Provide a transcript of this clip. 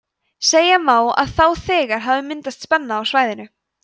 segja má að þá þegar hafi myndast spenna á svæðinu